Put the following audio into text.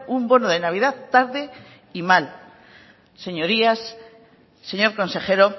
un bono de navidad tarde y mal señorías señor consejero